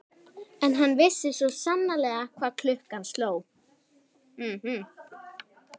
En hann vissi svo sannarlega hvað klukkan sló.